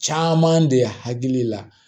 Caman de hakili la